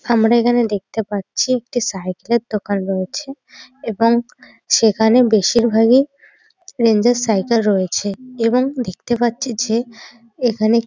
আমরা এখানে দেখতে পাচ্ছি একটি সাইকেলের দোকান রয়েছে এবং সেখানে বেশিরভাগই সাইকেল রয়েছে এবং দেখতে পাচ্ছি যে এখানে-